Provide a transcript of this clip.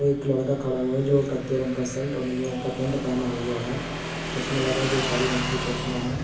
एक लड़का खड़ा हुआ जो कच्चे रंग का शर्ट और नीले रंग का पेंट पहना हुआ है चश्मा लगाए जो काले रंग के चश्मा है।